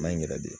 Maɲi yɛrɛ de